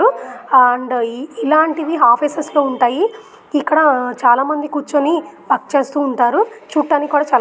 And ఈ ఇలాంటివి offices లో ఉంటాయి. ఇక్కడ చాలా మంది కూర్చొని టాక్ చేస్తూ ఉంటారు. చూడ్డానికి కూడా చాలా పెద్దగా ఉంది.